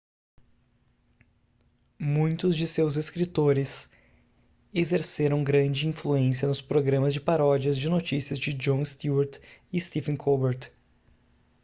muitos de seus escritores exerceram grande influência nos programas de paródias de notícias de jon stewart e stephen colbert